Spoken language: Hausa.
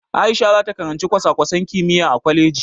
A'isha zata karanci kwasa-kwasan kimiyya a kwaleji.